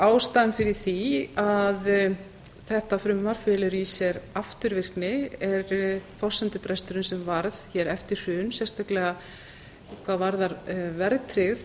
ástæðan fyrir því að þetta frumvarp felur í sér afturvirkni er forsendubresturinn sem varð hér eftir hrun sérstaklega hvað varðar verðtryggð